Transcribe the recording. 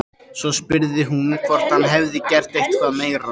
Svo spurði hún hvort hann hefði gert eitthvað meira.